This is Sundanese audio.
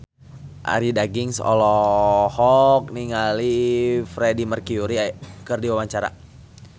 Arie Daginks olohok ningali Freedie Mercury keur diwawancara